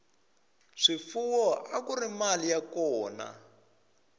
swifuwo akuri mali ya kona